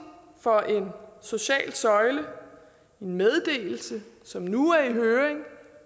for en social søjle en meddelelse som nu er i høring